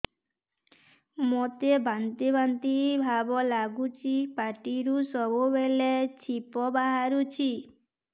ମୋତେ ବାନ୍ତି ବାନ୍ତି ଭାବ ଲାଗୁଚି ପାଟିରୁ ସବୁ ବେଳେ ଛିପ ବାହାରୁଛି